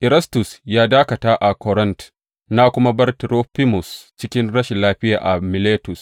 Erastus ya dakata a Korint, na kuma bar Turofimus cikin rashin lafiya a Miletus.